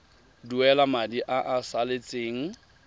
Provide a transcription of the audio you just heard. duela madi a a salatseng